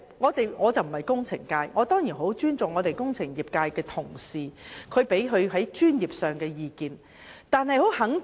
我不是工程界代表，我當然很尊重代表工程界的同事的專業意見。